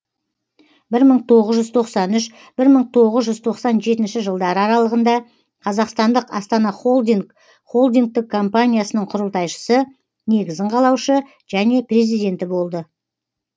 бір мың тоғыз жүз тоқсан үш бір мың тоғыз жүз тоқсан жетінші жылдары аралығында қазақстандық астана холдинг холдингтік компаниясының құрылтайшысы негізін қалаушы және президенті болды